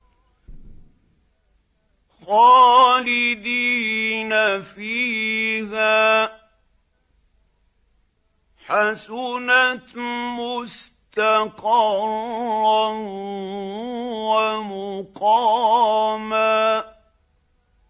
خَالِدِينَ فِيهَا ۚ حَسُنَتْ مُسْتَقَرًّا وَمُقَامًا